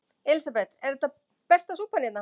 Elísabet: Er þetta besta súpan hérna?